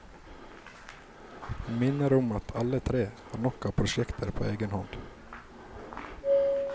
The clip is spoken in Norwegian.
Han minner om at alle tre har nok av prosjekter på egen hånd.